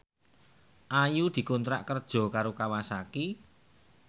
Ayu dikontrak kerja karo Kawasaki